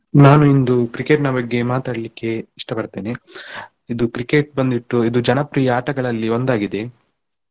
ನಾನು ಇಂದು Cricket ನ ಬಗ್ಗೆ ಮಾತಾಡ್ಲಿಕ್ಕೆ ಇಷ್ಟಪಡ್ತೇನೆ ಇದು Cricket ಬಂದ್ಬಿಟ್ಟು ಇದು ಜನಪ್ರಿಯ ಆಟಗಳಲ್ಲಿ ಒಂದಾಗಿದೆ.